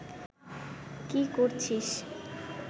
কী করছিস